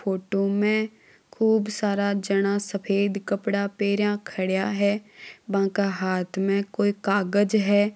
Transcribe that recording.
फोटो में खुब सारा जणा सफेद कपड़ा पहरा खड़े है बका हाथ में कोई कागज है।